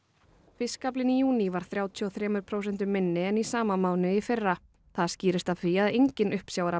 fiskaflinn í júní var þrjátíu og þremur prósentum minni en í sama mánuði í fyrra það skýrist af því að enginn